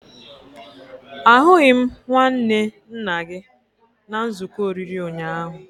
Ahụghị m nwanne nna gị na nzuko oriri ụnyaahụ